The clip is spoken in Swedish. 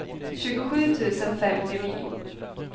tjugosju tusen femtionio